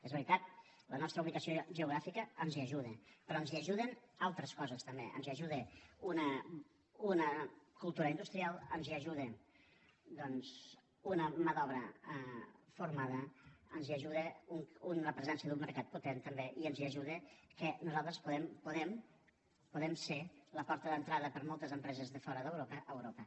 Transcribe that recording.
és veritat la nostra ubicació geogràfica ens hi ajuda però ens hi ajuden altres coses també ens hi ajuda una cultura industrial ens hi ajuda doncs una mà d’obra formada ens hi ajuda la presència d’un mercat potent també i ens hi ajuda que nosaltres podem podem ser la porta d’entrada per a moltes empreses de fora d’europa a europa